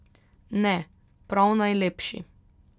Ne, prav najlepši.